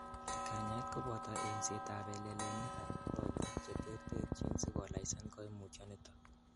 Kanyaet koboto eng'setab pelelenikab konyek cheterterchin sikolainisan koimutyoniton.